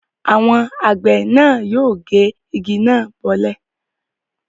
Àwọn àgbẹ̀ náà yóò gé igi náà bọ́lẹ̀.